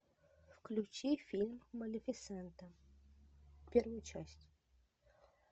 включи фильм малефисента первую часть